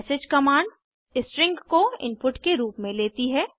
message command string को input के रूप में लेती है